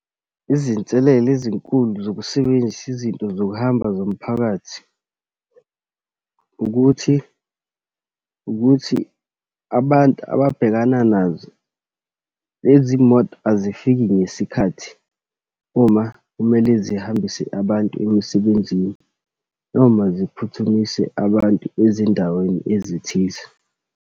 Izinselelo ezinkulu zokusebenzisa izinto zokuhamba zomphakathi, ukuthi, ukuthi abantu ababhekana nazo lezi moto, azifiki ngesikhathi uma kumele zihambise abantu emsebenzini, noma ziphuthumise abantu ezindaweni ezithize.